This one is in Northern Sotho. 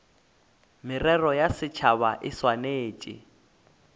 merero ya setšhaba e swanetše